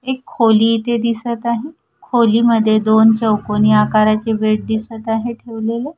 एक खोली इथे दिसत आहे खोलीमध्ये दोन चौकोनी आकाराचे बेट दिसत आहे ठेवलेल.